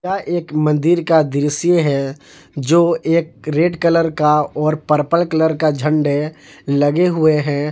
यह एक मन्दिर का दृश्य है जो एक रेड कलर का और पर्पल कलर का झंडे लगे हुए हैं।